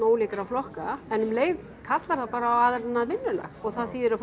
ólíkra flokka en um leið kallar það bara á annað vinnulag og það þýðir að